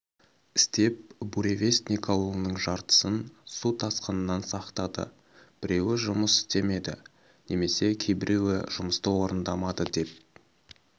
істеп буревестник ауылының жартысын су тасқыннан сақтады біруі жұмыс істемеді немесе кейбіреуі жұмысты орындамады деп